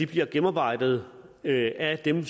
bliver gennemarbejdet af dem